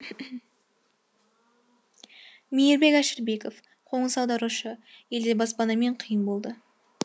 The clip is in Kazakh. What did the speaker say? мейірбек әшірбеков қоныс аударушы елде баспанамен қиын болды